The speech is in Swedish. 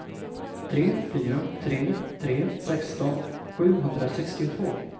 tre fyra tre tre sexton sjuhundrasextiotvå